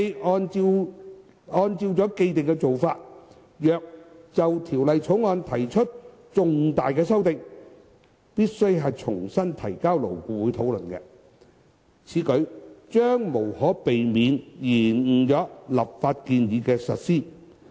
按照既定做法，如果就《條例草案》提出重大修訂，須重新提交勞顧會討論。此舉將無可避免延誤立法建議的實施。